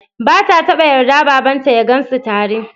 Ba ta taɓa yarda babanta ya gansu tare.